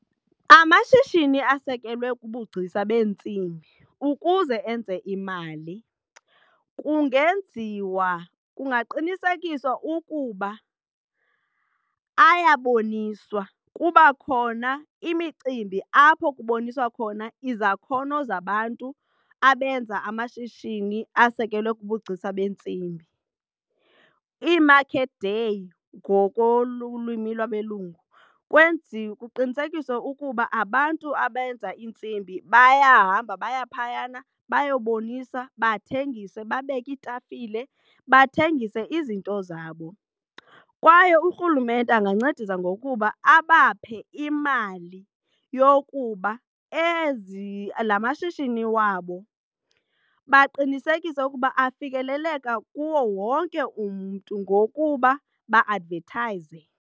Amashishini asikelwe kubugcisa beentsimbi ukuze enze imali kungenziwa, kungaqinisekiswa ukuba ayaboniswa kuba khona imicimbi apho kuboniswa khona izakhono zabantu abenza amashishini asekelwe kubugcisa beentsimbi ii-market day ngokolwimi lwabelungu. Kwenziwe kuqinisekiswe ukuba abantu abenza iintsimbi bayahamba baya phayana bayabonisa bathengise babeke iitafile bathengise izinto zabo kwaye urhulumente angancedisa ngokuba abaphe imali yokuba la mashishini wabo baqinisekise ukuba afikeleleka kuwo wonke umntu ngokuba ba-advethayiza.